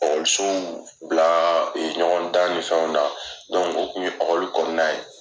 Ɔkɔlisow bila ɲɔgɔn dan ni fɛnw na o kun ye ɔkɔli kɔnɔna na ye.